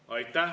Aitäh!